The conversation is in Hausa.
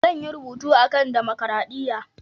Zan yi rubutu a kan damakaraɗiya.